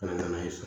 Ka na n'a ye so